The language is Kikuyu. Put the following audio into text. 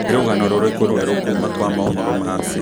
nī rūgano rūrīkū rūerū kuma gwa mohoro ma citizen